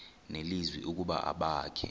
nelizwi ukuba abakhe